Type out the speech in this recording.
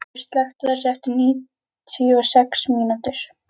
Hjörfríður, slökktu á þessu eftir níutíu og sex mínútur.